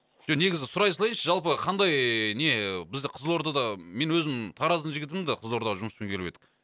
жоқ негізі сұрай салайыншы жалпы қандай не бізді қызылордада мен өзім тараздың жігітімін да қызылордаға жұмыспен келіп едік